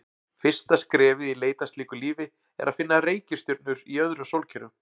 Fyrsta skrefið í leit að slíku lífi er að finna reikistjörnur í öðrum sólkerfum.